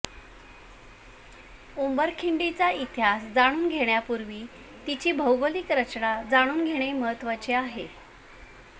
उंबरखिंडीचा इतिहास जाणून घेण्यापूर्वी तिची भौगोलिक रचना जाणून घेणे महत्त्वाचे आहे